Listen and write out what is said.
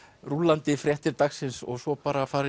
rúllandi fréttir dagsins og svo bara að fara